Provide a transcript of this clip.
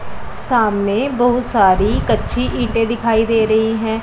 सामने बहुत सारी कच्ची ईंटें दिखाई दे रही है।